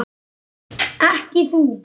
Ekki þú.